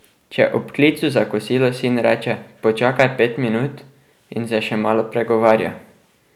Če ob klicu za kosilo sin reče: 'Počakaj pet minut,' in se še malo pregovarja.